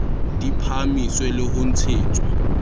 di phahamiswe le ho ntshetswa